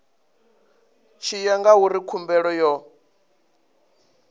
tshi ya ngauri khumbelo yo